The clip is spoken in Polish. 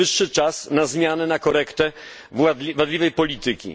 Najwyższy czas na zmianę, na korektę wadliwej polityki.